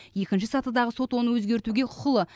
екінші сатыдағы сот оны өзгертуге құқылы